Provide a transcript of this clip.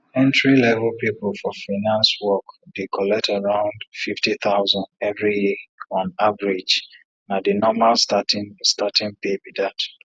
entry level people for finance work dey collect around fifty thousand every year on average na the normal starting starting pay be that